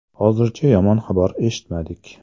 Hozircha yomon xabar eshitmadik”.